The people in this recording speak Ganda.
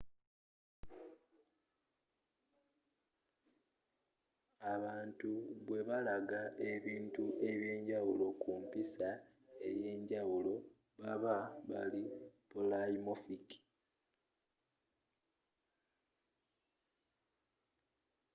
abantu bwe balaga ebintu ebyenjawulo ku mpiisa eyenjawulo baaba bali polymorphic